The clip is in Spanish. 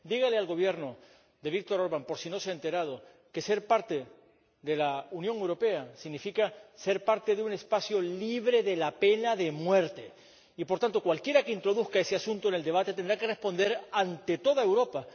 Dígale al Gobierno de Viktor Orbán −por si no se ha enterado− que formar parte de la Unión Europea significa formar parte de un espacio sin pena de muerte y, por tanto, cualquiera que introduzca ese asunto en el debate tendrá que responder ante toda Europa.